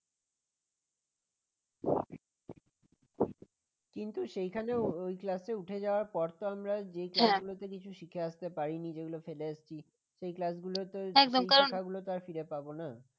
কিন্তু সেখানে ওই class উঠে যাওয়ার পর তো আমরা যে class গুলোতে কিছু শিখে আসতে পারিনি যেগুলো ফেলে এসেছি সেই class গুলো তো সে শেখাগুলো তো আর ফিরে পাব না।